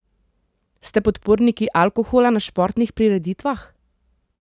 Ste podporniki alkohola na športnih prireditvah?